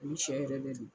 Ani sɛ yɛrɛ bɛ